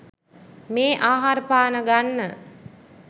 මේ ආහාර පාන ගන්න